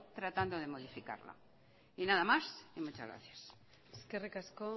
tratando de modificarla y nada más muchas gracias eskerrik asko